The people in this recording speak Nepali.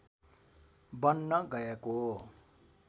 बन्न गएको